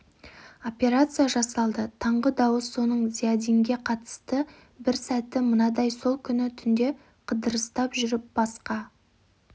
операция жасалды таңғы дауыс соның зиядинге қатысты бір сәті мынадай сол күні түнде қыдырыстап жүріп басқа